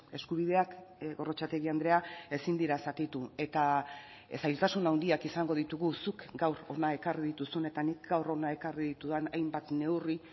eskubideak gorrotxategi andrea ezin dira zatitu eta zailtasun handiak izango ditugu zuk gaur hona ekarri dituzun eta nik gaur hona ekarri ditudan hainbat neurri